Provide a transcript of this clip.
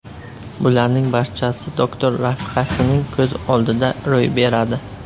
Bularning barchasi doktor rafiqasining ko‘z oldida ro‘y beradi.